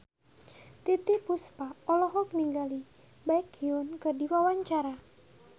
Titiek Puspa olohok ningali Baekhyun keur diwawancara